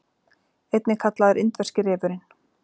Einnig kallaður indverski refurinn.